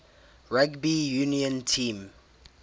rugby union team